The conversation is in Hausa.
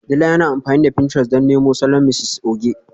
Dila yana amfani da pinterest don nemo salon Mrs Oge